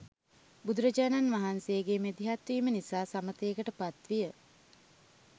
බුදු රජාණන් වහන්සේ ගේ මැදිහත්වීම නිසා සමථයකට පත්විය.